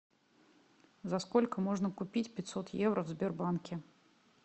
за сколько можно купить пятьсот евро в сбербанке